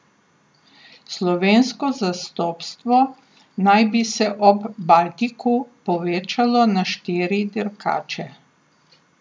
Slovensko zastopstvo naj bi se ob Baltiku povečalo na štiri dirkače.